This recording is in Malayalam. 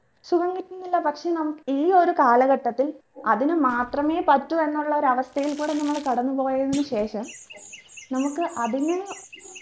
സുഖം കിട്ടുന്നില്ല പക്ഷെ നമ്ക് ഈ ഒരു കാലഘട്ടത്തിൽ അതിന് മാത്രമേ പറ്റൂ എന്നുള്ളൊരു അവസ്ഥയിൽ നമ്മൾ കടന്നു പോയതിന് ശേഷം നമുക്ക് അതിന്